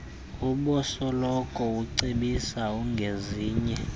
ubosoloko ucebisa ngezinye